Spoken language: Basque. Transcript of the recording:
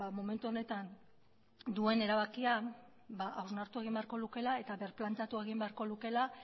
momentu honetan duen erabakia ba hausnartu egin beharko lukeela eta birplantatu egin beharko lukeela